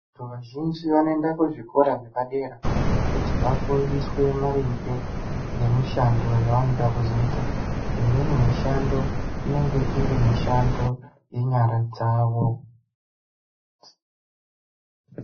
Vazhinji va noenda ku zvikora zvepa dera kuti va fundiswe maringe nge mushando yavanoda kuzoita imweni mishando inenge iri mishando ye nyara dzavo.